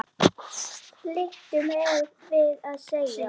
liggur mér við að segja.